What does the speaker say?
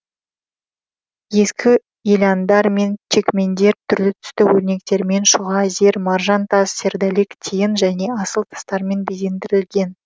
ескі еляндар мен чекмендер түрлі түсті өрнектермен шұға зер маржан тас сердолик тиын және асыл тастармен безендірілген